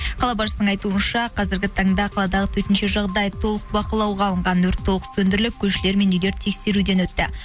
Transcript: қала басшысының айтуынша қазіргі таңда қаладағы төтенше жағдай толық бақылауға алынған өрт толық сөндіріліп көшелер мен үйлер тексеруден өтті